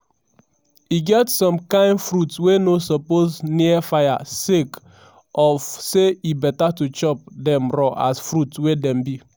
e get some kain fruits wey no suppose near fire sake of say e beta to chop dem raw as fruits wey dem be."